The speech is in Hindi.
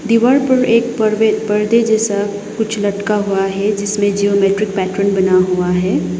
दीवार पर एक पड़दे पर्दे जैसा कुछ लटका हुआ है जिसमें जियोमेट्रिक पैट्रन बना हुआ हैं।